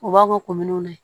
U b'a fɔ ko minɛnw na